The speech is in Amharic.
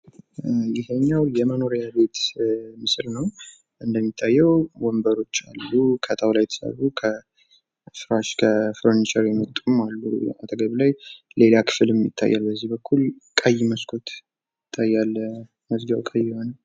ይሄኛው የመኖርያ ቤት ምስል ነው ።እንደሚታዬው ወንበሮች አሉ ከጣውላ የተሰሩ ከፈርኒቸር የመጡም አሉ አጠገብ ላይ። ሌላ ክፍልም ይታያል በዚህ በኩል። ቀይ መስኮት ይታያል መዝጊያው ቀይ የሆነ።